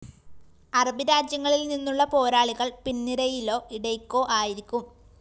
അറബി രാജ്യങ്ങളില്‍ നിന്നുള്ള പോരാളികള്‍ പിന്‍നിരയിലോ ഇടയ്‌ക്കോ ആയിരിക്കും